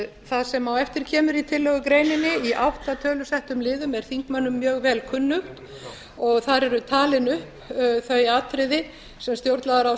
það sem á eftir kemur í tillögugreininni í átta tölusettum liðum er þingmönnum mjög vel kunnugt þar eru talin upp þau atriði sem stjórnlagaráð